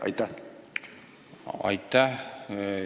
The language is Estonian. Aitäh!